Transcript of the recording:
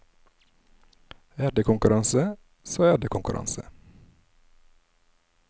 Er det konkurranse, så er det konkurranse.